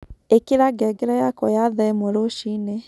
ĩkĩra ngengere yakwa ya thaa ĩmwe rũciini